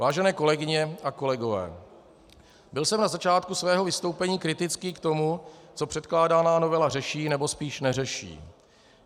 Vážené kolegyně a kolegové, byl jsem na začátku svého vystoupení kritický k tomu, co předkládaná novela řeší, nebo spíš neřeší.